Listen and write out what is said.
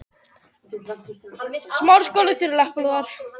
Á öðrum svæðum hefur orðið fótbolti haft yfirhöndina.